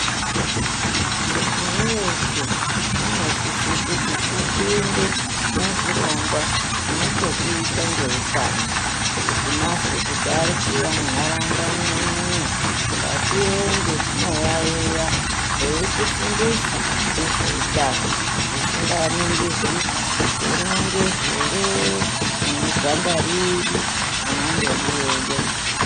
Muntu weshe unosise kuti upinde muzvirongwaa zvinochekuita ngeutano, kuti mazwee kuti ari kuuya mundaraunda mwenyumoo, ngatiende tinoyayiya eitifundisaa ngezveutano zvisinganingirwi kuti uri mungezi here, une ganda riri unondodiweyoo.